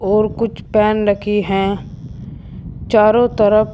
और कुछ पेन रखी है चारों तरफ।